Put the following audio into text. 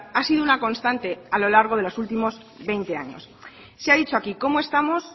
ha sido una constante a lo largo de los últimos veinte años se ha dicho aquí cómo estamos